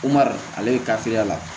Umaru ale ye kafeeya